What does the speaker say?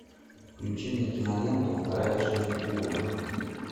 включи мне киноленту вторая жизнь уве